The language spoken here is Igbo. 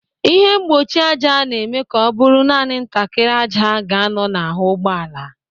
Ịhe mgbochi ájá na-eme ka ọ bụrụ naanị ntakịrị ájá ga-anọ n'ahụ ụgbọala.